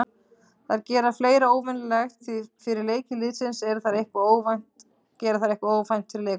Þær gera fleira óvenjulegt því fyrir leiki liðsins gera þær eitthvað óvænt fyrir leikmennina.